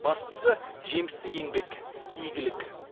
бастысы жемісті еңбек игілік